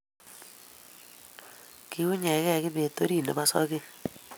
Kiunygei kibet orit nebo sogek